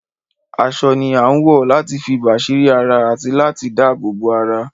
Aṣọ ni a ń wọ láti fi bàsírí ara àti láti dabobo ara